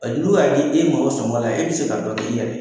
n'o y'a di e ma o sɔngɔ la e bɛ se ka dɔ k'i yɛrɛ ye